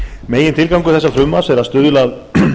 megintilgangur þessa frumvarps er að stuðla að